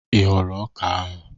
Ị ghọrọ ọka ahụ?